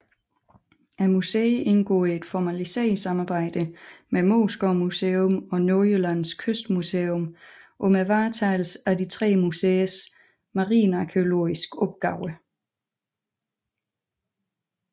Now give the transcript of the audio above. Museet indgår i et formaliseret samarbejde med Moesgaard Museum og Nordjyllands Kystmuseum om varetagelsen af de tre museers marinarkæologiske opgaver